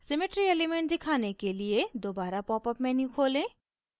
symmetry elements दिखाने के लिए दोबारा popअप menu खोलें